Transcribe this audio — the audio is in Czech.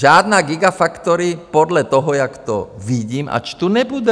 Žádná gigafactory podle toho, jak to vidím a čtu, nebude.